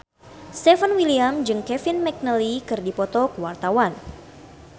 Stefan William jeung Kevin McNally keur dipoto ku wartawan